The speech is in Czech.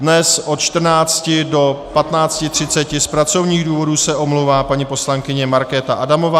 Dnes od 14 do 15.30 z pracovních důvodů se omlouvá paní poslankyně Markéta Adamová.